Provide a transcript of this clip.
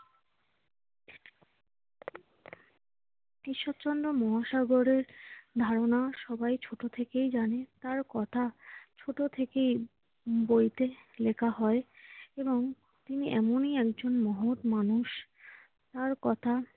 ঈশ্বরচন্দ্র মহাসাগরের ধারণা সবাই ছোট থেকেই জানে, তার কথা ছোট থেকেই বইতে লেখা হয় এবং তিনি এমনই একজন মহৎ মানুষ, তাঁর কথা